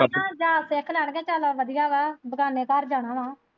ਸਿੱਖ ਲੈਣਗੇ ਚੱਲ ਵਧੀਆਂ ਵਾਂ ਬਗਾਨੇ ਘਰ ਜਾਣਾ ਵਾਂ।